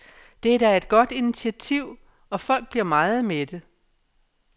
Det er da et godt initiativ, og folk bliver meget mætte.